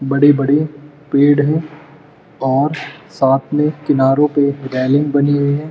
बड़े-बड़े पेड़ हैं और साथ में किनारो पे रेलिंग बनी हुई हैं।